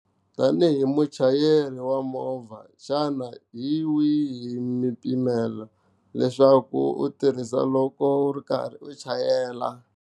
Tani hi muchayeri wa movha xana hi wihi mimpimela leswaku u tirhisa loko u ri karhi u chayela.